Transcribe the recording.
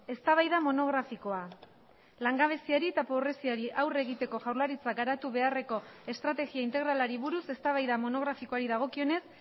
eztabaida monografikoa langabeziari eta pobreziari aurre egiteko jaurlaritzak garatu beharreko estrategia integralari buruz eztabaida monografikoari dagokionez